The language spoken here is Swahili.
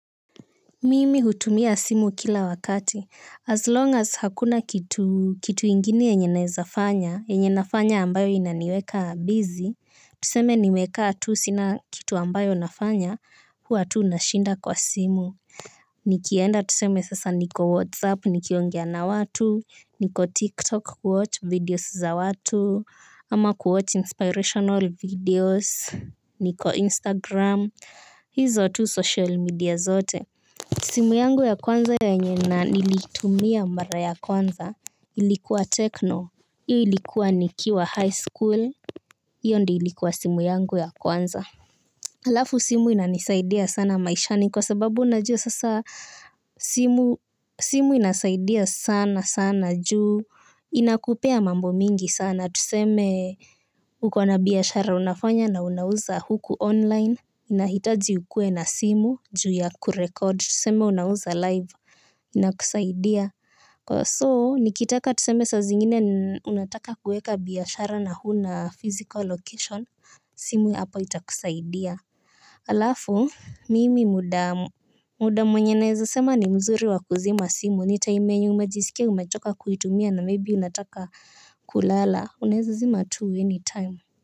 Mimi hutumia simu kila wakati, as long as hakuna kitu ingine yenye nawezafanya, yenye nafanya ambayo inaniweka bizi, tuseme nimekaa tusina kitu ambayo nafanya, huwa tu nashinda kwa simu. Nikienda tuseme sasa niko whatsapp, nikiongea na watu, niko tiktok kuwatch videos za watu, ama kuwatch inspirational videos, niko instagram, hizo tu social media zote. Simu yangu ya kwanza yenye na nilitumia mara ya kwanza ilikuwa techno, hiyo ilikuwa nikiwa high school, hiyo ndiyo ilikuwa simu yangu ya kwanza. Alafu simu inanisaidia sana maishani kwa sababu unajua sasa simu simu inasaidia sana sana juu inakupea mambo mingi sana tuseme ukona biashara unafanya na unauza huku online inahitaji ukue na simu juu ya kurekod tuseme unauza live ina kusaidia. Kwa so nikitaka tuseme saa zingine ni unataka kuweka biashara na huna physical location simu hapo itakusaidia. Alafu mimi muda muda mwenye naweza sema ni mzuri wa kuzima simu nitime yenye umejisikia umechoka kuitumia na maybe unataka kulala unaweza zima tu any time.